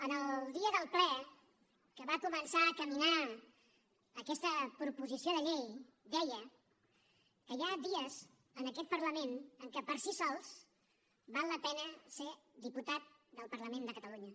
en el dia del ple que va començar a caminar aquesta proposició de llei deia que hi ha dies en aquest parlament en què per si sols val la pena ser diputat del parlament de catalunya